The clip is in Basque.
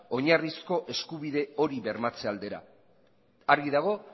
oinarrizko eskubide hori bermatze aldera argi dago